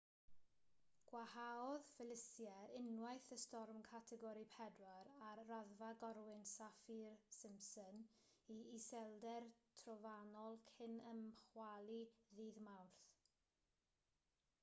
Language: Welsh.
gwanhaodd felicia unwaith yn storm categori 4 ar raddfa gorwynt saffir-simpson i iselder trofannol cyn ymchwalu ddydd mawrth